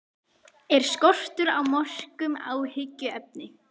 Er skortur á mörkum áhyggjuefni?